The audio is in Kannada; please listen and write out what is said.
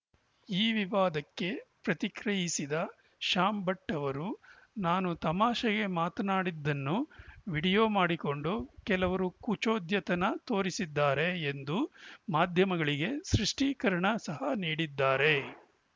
ಈ ವಿವಾದಕ್ಕೆ ಪ್ರತಿಕ್ರಿಯಿಸಿದ ಶ್ಯಾಂ ಭಟ್‌ ಅವರು ನಾನು ತಮಾಷೆಗೆ ಮಾತನಾಡಿದ್ದನ್ನು ವಿಡಿಯೋ ಮಾಡಿಕೊಂಡು ಕೆಲವರು ಕುಚೋದ್ಯತನ ತೋರಿಸಿದ್ದಾರೆ ಎಂದು ಮಾಧ್ಯಮಗಳಿಗೆ ಸೃಷ್ಟೀಕರಣ ಸಹ ನೀಡಿದ್ದಾರೆ